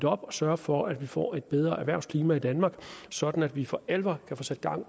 op og sørge for at vi får et bedre erhvervsklima i danmark sådan at vi for alvor kan få sat gang